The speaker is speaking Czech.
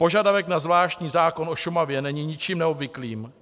Požadavek na zvláštní zákon o Šumavě není ničím neobvyklým.